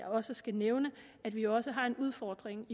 også skal nævne at vi også har en udfordring